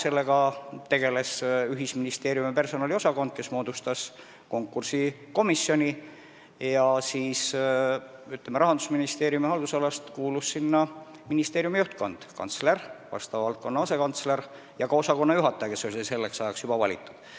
Sellega tegeles ühisministeeriumi personaliosakond, kes moodustas konkursikomisjoni, kuhu Rahandusministeeriumi haldusalast kuulus ministeeriumi juhtkond: kantsler, vastava valdkonna asekantsler ja ka osakonnajuhataja, kes oli selleks ajaks juba valitud.